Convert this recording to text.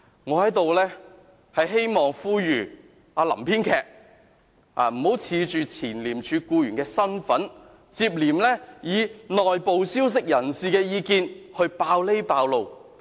我在這裏希望並呼籲"林編劇"，不要恃着前廉署僱員的身份，接連以內部消息人士的意見來揭露這個那個。